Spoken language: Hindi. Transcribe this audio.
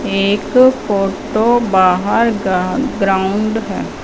एक फोटो बाहर गा ग्राउंड है।